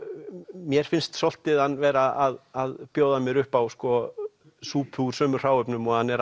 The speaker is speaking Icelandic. mér finnst svolítið hann vera að bjóða mér upp á súpu úr sömu hráefnum og hann er